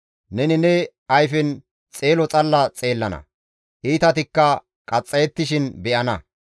Neni ne ayfen xeelo xalla xeellana; iitatikka qaxxayettishin be7ana.